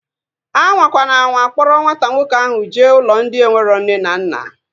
Anwakwana anwa kpọrọ nwata nwoke ahu jee ụlọ ndị enwero nne na nna!